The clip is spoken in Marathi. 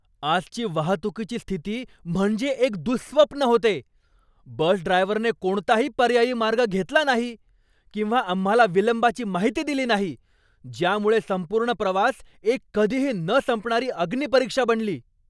आजची वाहतुकीची स्थिती म्हणजे एक दुःस्वप्न होते. बस ड्रायव्हरने कोणताही पर्यायी मार्ग घेतला नाही किंवा आम्हाला विलंबाची माहिती दिली नाही, ज्यामुळे संपूर्ण प्रवास एक कधीही न संपणारी अग्निपरीक्षा बनली!